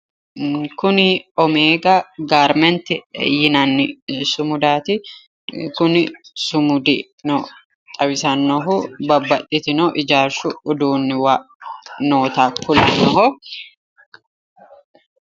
kuni omeega garmenti yinanni sumudaati kuni sumudino xawisannohu babaxitino ijaarshu uduunnuwa noota kulannoho.